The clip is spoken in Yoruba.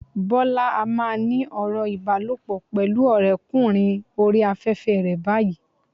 Bọ́lá á máa ní ọ̀rọ̀ ìbálòpọ̀ pẹ̀lú ọ̀rẹ́ kùnrin oríi afẹ́fẹ́ rẹ báyìí.